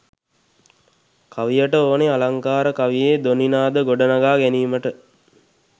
කවියට ඕන අලංකාර කවියේ ධ්වනි නාද ගොඩනඟා ගැනීමට